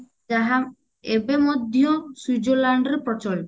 ଯାହା ଏବେ ମଧ୍ୟ ସ୍ବୀଜରଲାଣ୍ଡ ରେ ପ୍ରଚଳିତ